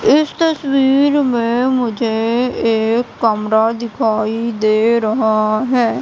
इस तस्वीर में मुझे एक कमरा दिखाई दे रहा है।